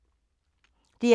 DR K